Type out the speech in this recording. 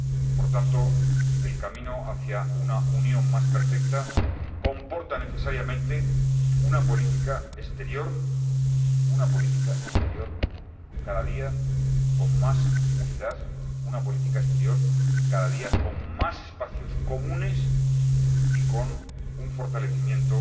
Por tanto, el camino hacia una Unión más perfecta comporta necesariamente una política exterior, una política exterior cada día con más unidad, una política exterior cada día con más espacios comunes y con un fortalecimiento